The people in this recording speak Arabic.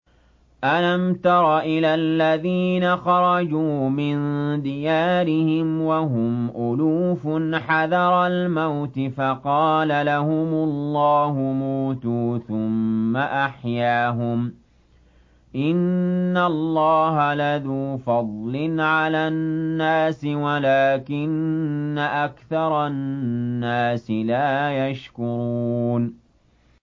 ۞ أَلَمْ تَرَ إِلَى الَّذِينَ خَرَجُوا مِن دِيَارِهِمْ وَهُمْ أُلُوفٌ حَذَرَ الْمَوْتِ فَقَالَ لَهُمُ اللَّهُ مُوتُوا ثُمَّ أَحْيَاهُمْ ۚ إِنَّ اللَّهَ لَذُو فَضْلٍ عَلَى النَّاسِ وَلَٰكِنَّ أَكْثَرَ النَّاسِ لَا يَشْكُرُونَ